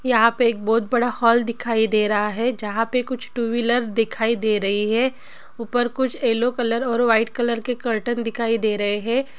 यहा पे एक बहुत बडा हॉल दिखाई दे रहा है जहा पे कुछ टू व्हीलर दिखाई दे रही है ऊपर कुछ येलो कलर और व्हाइट कलर के कर्टेन दिखाई दे रहे है।